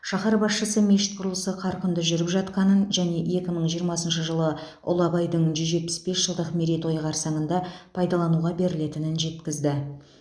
шаһар басшысы мешіт құрылысы қарқынды жүріп жатқанын және екі мың жиырмасыншы жылы ұлы абайдың жүз жетпіс бес жылдық мерейтойы қарсаңында пайдалануға берілетінін жеткізді